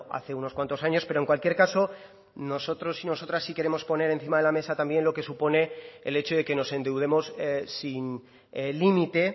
hace unos cuantos años pero en cualquier caso nosotros y nosotras sí queremos poner encima de la mesa también lo que supone el hecho de que nos endeudemos sin límite